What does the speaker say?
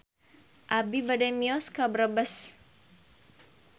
Abi bade mios ka Brebes